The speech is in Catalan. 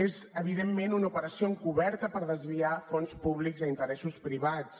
és evidentment una operació encoberta per desviar fons públics a interessos privats